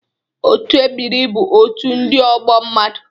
Otu ebiri bụ otu ndị ọgbọ mmadụ